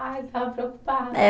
Ah, ele estava preocupado. É